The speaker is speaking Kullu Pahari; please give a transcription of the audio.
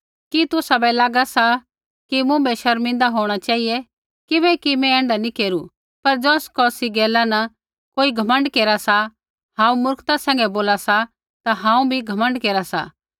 कि तुसाबै लागा सा कि मुँभै शर्मिंदा होंणा चेहिऐ किबैकि मैं ऐण्ढा नी केरू पर ज़ौस कौसी गैला कोई घमण्ड केरा सा हांऊँ मूर्खता सैंघै बोला सा ता हांऊँ भी घमण्ड केरा सा